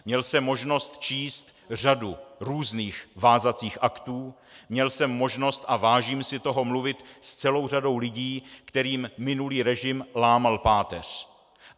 Měl jsem možnost číst řadu různých vázacích aktů, měl jsem možnost, a vážím si toho, mluvit s celou řadou lidí, kterým minulý režim lámal páteř.